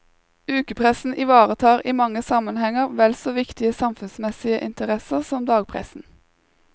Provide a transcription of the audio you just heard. Ukepressen ivaretar i mange sammenhenger vel så viktige samfunnsmessige interesser som dagspressen.